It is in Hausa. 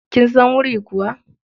Kin san wuri kuwa?